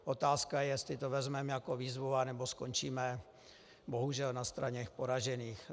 Otázka je, jestli to vezmeme jako výzvu, nebo skončíme, bohužel, na straně poražených.